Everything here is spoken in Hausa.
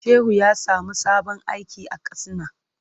Shehu ya samu sabon aiki a Katsina.